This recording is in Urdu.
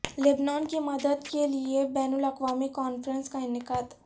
لبنان کی مدد کے لئے بین الاقوامی کانفرنس کا انعقاد